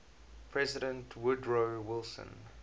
president woodrow wilson